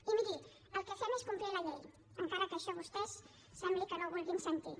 i miri el que fem és complir la llei encara que això vostès sembli que no ho vulguin sentir